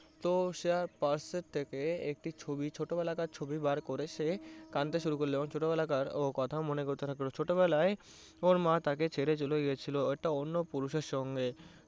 তো সে এক purse এর থেকে একটি ছবি ছোটবেলাকার ছবি বার করে সে কাঁদতে শুরু করলো ও ছোটবেলার কথা মনে করতে লাগলো। ছোটবেলায় ওর মা তাকে ছেড়ে চলে গেছিলো একটা অন্য পুরুষের সঙ্গে।